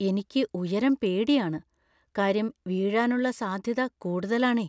എനിക്ക് ഉയരം പേടിയാണ്, കാര്യം വീഴാനുള്ള സാധ്യത കൂടുതലാണേ.